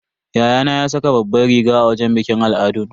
Yayana ya saka babbar riga a wajen bikin al'adun.